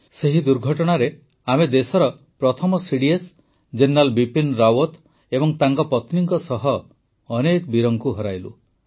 ସେହି ଦୁର୍ଘଟଣାରେ ଆମେ ଦେଶର ପ୍ରଥମ ସିଡିଏସ୍ ଜେନେରାଲ ବିପିନ୍ ରାୱତ ଏବଂ ତାଙ୍କ ପତ୍ନୀଙ୍କ ସହ ଅନେକ ବୀରଙ୍କୁ ହରାଇଲୁ